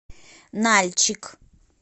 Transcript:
нальчик